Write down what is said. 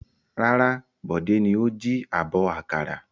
Rárá, Bọ̀dé ni ó jí abọ́ àkàrà.